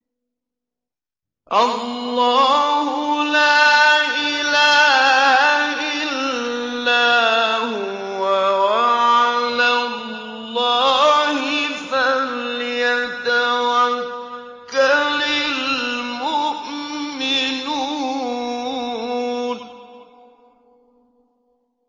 اللَّهُ لَا إِلَٰهَ إِلَّا هُوَ ۚ وَعَلَى اللَّهِ فَلْيَتَوَكَّلِ الْمُؤْمِنُونَ